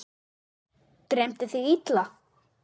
Dreymdi þig illa?